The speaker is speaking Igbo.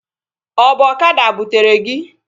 Ọ bụ ọkada butere gị?